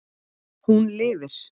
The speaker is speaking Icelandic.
Hún lifir.